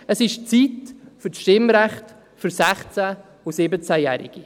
Es ist Zeit für das Stimmrecht für 16- und 17-Jährige.